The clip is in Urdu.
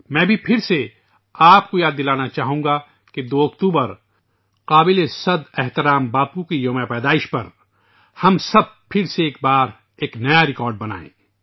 میں آپ کو ایک بار پھر یاد دلانا چاہوں گا کہ 2 اکتوبر کو قابل پرستش باپو کی سالگرہ پر ہم سب ایک بار پھر ایک نیا ریکارڈ بنائیں